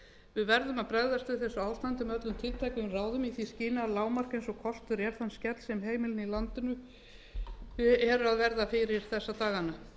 við verðum að bregðast við þessu ástandi með öllum tiltækum ráðum í því skyni að lágmarka eins og kostur er þann skell sem heimilin í landinu eru að verða fyrir þessa dagana